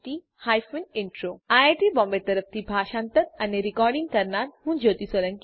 iit Bombay તરફથી spoken tutorial project માટે ભાષાંતર કરનાર હું જ્યોતી સોલંકી વિદાય લઉં છું